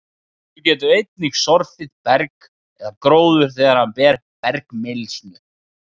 vindur getur einnig sorfið berg eða gróður þegar hann ber með bergmylsnu